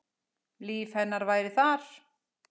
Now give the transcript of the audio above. Líf hennar væri þar.